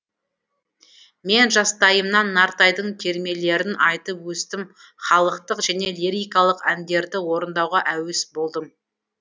мен жастайымнан нартайдың термелерін айтып өстім халықтық және лирикалық әндерді орындауға әуес болдым